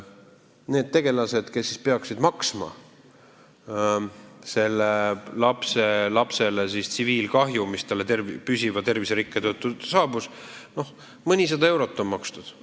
Need tegelased, kes peaksid kinni maksma sellele lapselapsele tekitatud tsiviilkahju, mis väljendub tema püsivas terviserikkes – noh, mõnisada eurot on makstud.